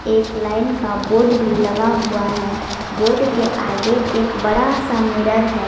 एक लाइन का बोर्ड भी लगा हुआ है बोर्ड के आगे एक बड़ा सा मिरर है।